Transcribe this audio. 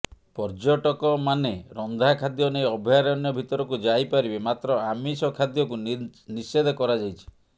ପର୍ଯ୍ୟଟକମାନେ ରନ୍ଧା ଖାଦ୍ୟ ନେଇ ଅଭୟାରଣ୍ୟ ଭିତରକୁ ଯାଇପାରିବେ ମାତ୍ର ଆମିଷ ଖାଦ୍ୟକୁ ନିଷେଧ କରାଯାଇଛି